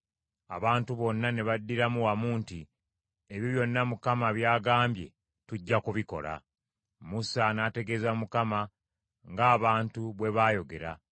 Abantu bonna ne baddiramu wamu nti, “Ebyo byonna Mukama by’agambye, tujja kubikola.” Musa n’ategeeza Mukama ng’abantu bwe baayogera.